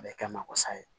A bɛ kɛ ma wasa ye